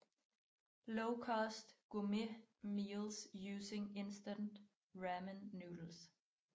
Lowcost Gourmet Meals Using Instant Ramen Noodles